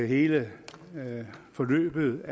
hele forløbet med